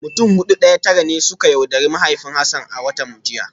Mutum Hudu daya Tara ne suka yaudari mahaifin Hassan a watan jiya